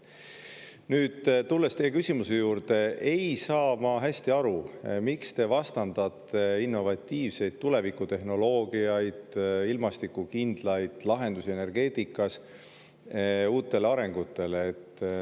Nüüd, tulles teie küsimuse juurde, ei saa ma hästi aru, miks te vastandate innovatiivseid tulevikutehnoloogiaid, ilmastikukindlaid lahendusi energeetikas, uutele arengutele.